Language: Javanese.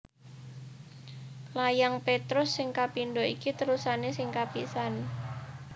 Layang Petrus sing kapindho iki terusané sing kapisan